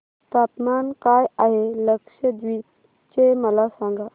तापमान काय आहे लक्षद्वीप चे मला सांगा